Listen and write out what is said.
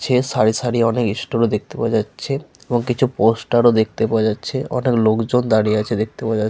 সে সারি সারি অনেক স্টোর ও দেখতে পাওয়া যাচ্ছে এবং পোস্টার ও দেখতে পাওয়া যাচ্ছে অনেক লোকজন দাঁড়িয়ে আছে দেখতে পাওয়া যাচ্।